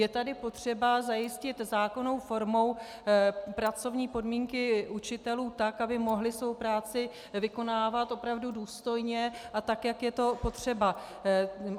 Je tady potřeba zajistit zákonnou formou pracovní podmínky učitelů tak, aby mohli svou práci vykonávat opravdu důstojně a tak, jak je to potřeba.